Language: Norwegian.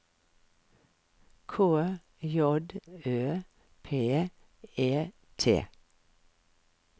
K J Ø P E T